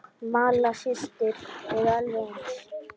Malla systir eru alveg eins.